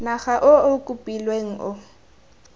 naga o o kopilweng o